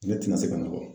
Ne tɛna se ka nɔgɔ